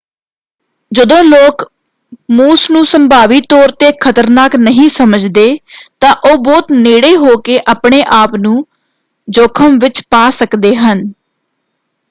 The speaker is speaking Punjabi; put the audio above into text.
ਜਦੋਂ ਲੋਕ ਮੂਸ ਨੂੰ ਸੰਭਾਵੀ ਤੌਰ ‘ਤੇ ਖ਼ਤਰਨਾਕ ਨਹੀਂ ਸਮਝਦੇ ਤਾਂ ਉਹ ਬਹੁਤ ਨੇੜੇ ਹੋ ਕੇ ਆਪਣੇ-ਆਪ ਨੂੰ ਜੋਖ਼ਮ ਵਿੱਚ ਪਾ ਸਕਦੇ ਹਨ।